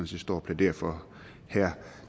set står og plæderer for her